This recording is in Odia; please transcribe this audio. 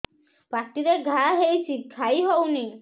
ପାଟିରେ ଘା ହେଇଛି ଖାଇ ହଉନି